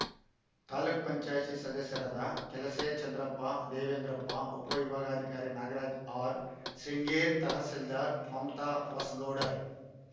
ತಾಲೂಕ್ ಪಂಚಾಯಿತಿ ಸದಸ್ಯರಾದ ಕಲಸೆ ಚಂದ್ರಪ್ಪ ದೇವೇಂದ್ರಪ್ಪ ಉಪವಿಭಾಗಾಧಿಕಾರಿ ನಾಗರಾಜ ಆರ್ ಸಿಂಗ್ರೇರ್ ತಹಸೀಲ್ದಾರ್ ಮಮತಾ ಹೊಸಗೌಡರ್